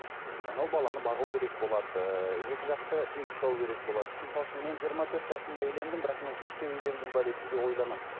мхм анау баланы бағу керек болады ыыы екі жақты тең ұстау керек болады мысалы үшін мен жиырма төрт жасымда үйлендім бірақ мен кештеу үйлендім бе деп кейде ойланамын